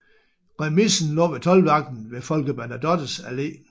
Remisen lå ved toldvagten ved Folke Bernadottes Allé